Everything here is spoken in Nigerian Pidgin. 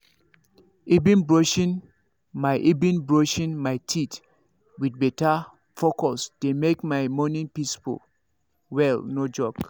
even brushing my even brushing my teeth with better focus dey make my morning peaceful well no joke.